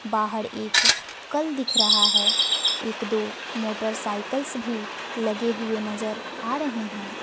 बाहर एक कल दिख रहा है। एक दो मोटरसाइकिस भी लगे हुए नजर आ रहे हैं।